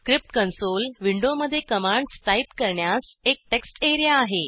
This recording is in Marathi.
स्क्रिप्ट कंसोल विंडोमध्ये कमांड्स टाईप करण्यास एक टेक्स्ट एरिया आहे